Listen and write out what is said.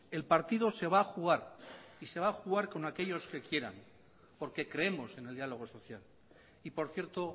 el partido se va a jugar y se va a jugar con aquellos que quieran porque creemos en el diálogo social y por cierto